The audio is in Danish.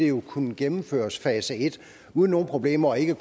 jo kunne gennemføre fase en uden nogen problemer og ikke